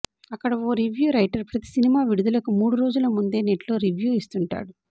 అక్కడ ఓ review writer ప్రతీ సినిమా విడుదలకు మూడు రోజుల ముందే నెట్లో రివ్యూ ఇస్తుంటాడు